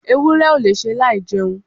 ewúrẹ́ ò lè ṣe láì jẹun